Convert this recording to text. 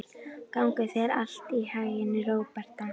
Gangi þér allt í haginn, Róberta.